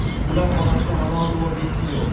ular orasida Ronaldu va Messi yo‘q.